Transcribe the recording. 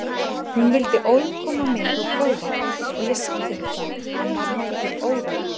Hún vildi ólm koma með og prófa og ég samþykkti það en var nokkuð órótt.